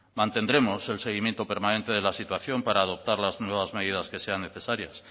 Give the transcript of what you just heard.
mantendremos el seguimiento permanente de la situación para adoptar las nuevas medidas que sean necesarias